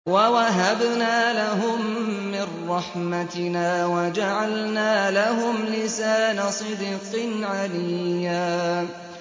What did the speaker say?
وَوَهَبْنَا لَهُم مِّن رَّحْمَتِنَا وَجَعَلْنَا لَهُمْ لِسَانَ صِدْقٍ عَلِيًّا